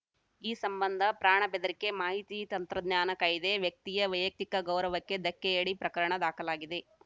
ಈ ಸಂಬಂಧ ಪ್ರಾಣ ಬೆದರಿಕೆ ಮಾಹಿತಿ ತಂತ್ರಜ್ಞಾನ ಕಾಯ್ದೆ ವ್ಯಕ್ತಿಯ ವೈಯಕ್ತಿಕ ಗೌರವಕ್ಕೆ ಧಕ್ಕೆಯಡಿ ಪ್ರಕರಣ ದಾಖಲಾಗಿದೆ